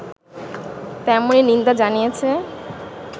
তেমনই নিন্দা জানিয়েছে